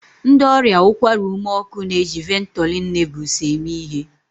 Ndị ọrịa ụkwara ume ọkụ na-eji Ventolin Nebules eme ihe